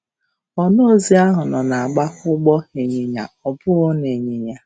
Ọnaozi ahụ nọ na-agba ụgbọ ịnyịnya ọ bụghị nịnyịnya.